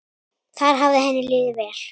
Þar hafði henni liðið vel.